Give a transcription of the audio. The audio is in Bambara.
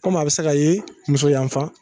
Kɔmi a bi se ka ye muso yanfa